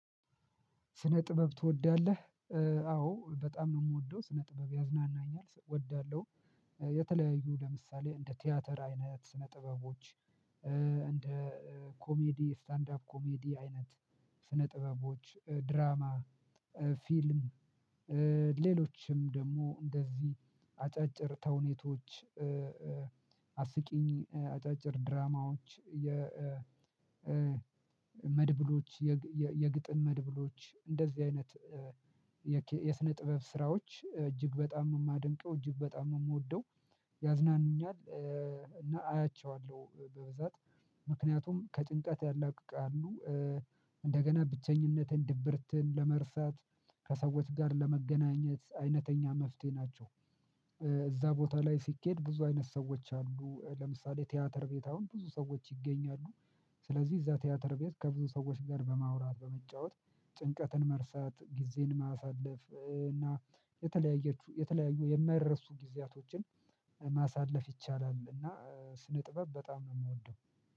ስነ ጥበብ ትወዳለህ አዎ በጣም ነው የምወደው ስነ ጥበብ ያዝናናኛል እወዳለሁ። የተለያዩ ለምሳሌ እንደ ቲያትር አይነት ስነ ጥበቦች እንደ ኮሜዲ ስታንድ አፕ ኮሜዲ አይነት ስነ ጥበቦች ድራማ፣ ፊልም ሌሎችም ደግሞ እንደዚህ አጫጭር ተውኔቶች አስቂኝ አጫጭር ድራማዎች የ መድብሎች የግጥም መድብሎች እንደዚህ አይነት የስነ ጥበብ ስራዎች እጅግ በጣም ነው የማደንቀው፣ እጅግ በጣም ነው የምወደው ያዝናኑኛል እና አያቸዋለሁ በብዛት ምክንያቱም ከጭንቀት ያላቅቃሉ። እንደገና ብቸኝነትን ድብርትን ለመርሳት ከሰዎች ጋር ለመገናኘት አይነተኛ መፍትሄ ናቸው። እዛ ቦታ ላይ ሲኬድ ብዙ አይነት ሰዎች አሉ ለምሳሌ ቲያትር ቤት አሁን ብዙ ሰዎች ይገኛሉ። ስለዚህ እዛ ቲያትር ቤት ከብዙ ሰዎች ጋር በማውራት በመጫወት ጭንቀትን መርሳት ጊዜን ማሳለፍ እና የተለያዩ የማይረሱ ጊዜያቶችን ማሳለፍ ይቻላል እና ስነ ጥበብ በጣም ነው የምወደው።